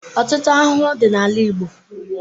Ọtụtụ ahụhụ dị n'ala Igbo.